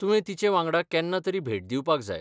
तुवें तिचे वांगडा केन्ना तरी भेट दिवपाक जाय.